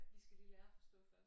Vi skal lige lære at forstå først